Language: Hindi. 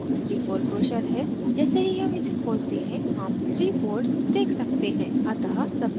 यह sample 3fold ब्रोशर है जैसे ही हम इसे खोलते हैं हम 3 folds देख सकते हैं